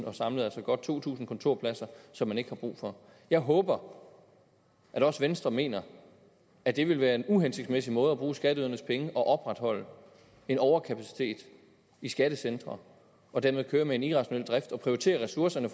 og samlet altså godt to tusind kontorpladser som man ikke har brug for jeg håber at også venstre mener at det vil være en uhensigtsmæssig måde at bruge skatteydernes penge at opretholde en overkapacitet i skattecentre og dermed køre med en irrationel drift og prioritere ressourcerne